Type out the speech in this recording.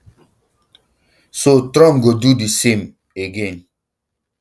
so trump go do di same um again